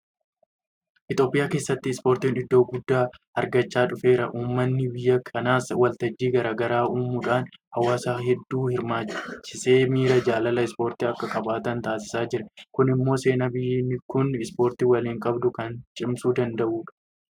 Itoophiyaa keessatti Ispoortiin iddoo guddaa argachaa dhufeera. Uummanni biyya kanaas waltajjii garaa garaa uumuudhaan hawaasa hedduu hirmaachisee miira jaalala ispoortii akka qabaatan taasisaa jira. Kun immoo seenaa biyyi kun ispoortii waliin qabdu kan cimsuu danda'udha.